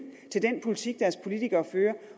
til den politik deres politikere fører